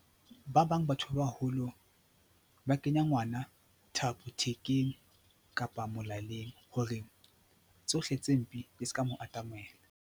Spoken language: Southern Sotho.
Ba bang batho ba baholo ba kenya ngwana thapo thekeng kapa molaleng hore tsohle tse mpe di ska mo atamela.